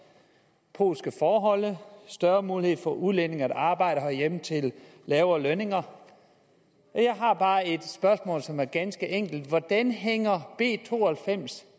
polske forhold og større muligheder for at udlændinge kan arbejde herhjemme til lavere lønninger jeg har bare et spørgsmål som er ganske enkelt hvordan hænger b to og halvfems